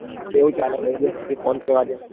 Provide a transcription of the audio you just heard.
કેવું ચાલે ભાઈબંધ તે phone કર્યો આજે.